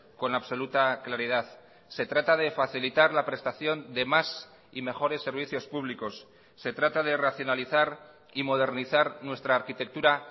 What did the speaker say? con absoluta claridad se trata de facilitar la prestación de más y mejores servicios públicos se trata de racionalizar y modernizar nuestra arquitectura